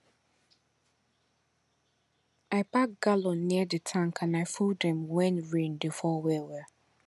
i pack gallon near the tank and i full dem when rain dey fall well well